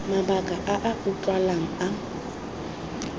mabaka a a utlwalang a